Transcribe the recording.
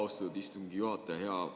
Austatud istungi juhataja!